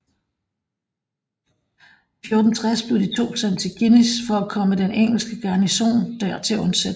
I 1460 blev de to sendt til Guînes for at komme den engelske garnison der til undsætning